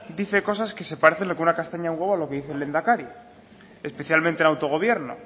dice cosas que se parecen lo que una castaña a un huevo en lo que dice el lehendakari especialmente en autogobierno